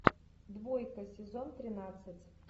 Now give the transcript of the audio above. двойка сезон тринадцать